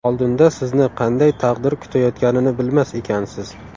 Oldinda sizni qanday taqdir kutayotganini bilmas ekansiz.